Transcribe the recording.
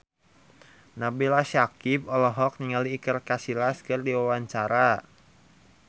Nabila Syakieb olohok ningali Iker Casillas keur diwawancara